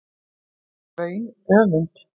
er vaun öfund